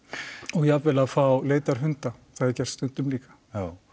og jafnvel að fá leitarhunda það er gert stundum líka já